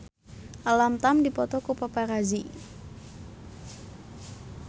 Alam Tam dipoto ku paparazi